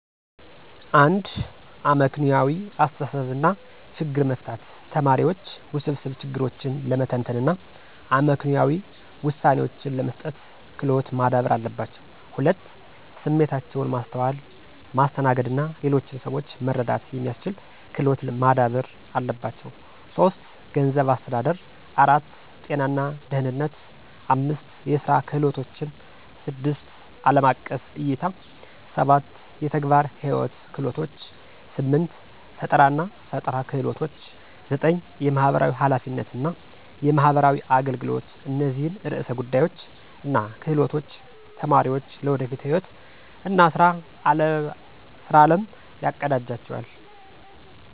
1. አመክንዮአዊ አስተሳሰብ እና ችግር መፍታት ተማሪዎች ውስብስብ ችግሮችን ለመተንተን እና አመክንዮአዊ ውሳኔዎችን ለመስጠት ክሎት ማዳበር አለባቸው። 2. ስሜታቸውን ማስተዋል፣ ማስተናገድ እና ሌሎችን ሰዎች መረዳት የሚስችል ክሎት ማዳበር አለባቸው። 3. ገንዘብ አስተዳደር 4. ጤና እና ደህነነት 5. የስራ ክህሎቶችን 6. አለም አቀፍ እይታ 7. የተግባር ህይዎት ክህሎቶች 8. ፈጠራናፈጠራ ክህሎች 9. የማህበራዊ ሐላፊነት እና የማህበራዊ አገልገሎት እነዚህን ዕርሰ ጉዳዮች እና ክህሎቶች ተማሪዎች ለወደፊት ህይዎት እና ስራ አለም ያቀዳጅላቸዋል።